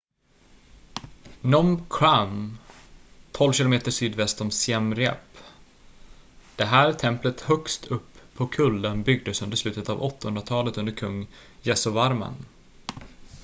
phnum kraôm 12 km sydväst om siem reap. det här templet högst upp på kullen byggdes under slutet av 800-talet under kung yasovarman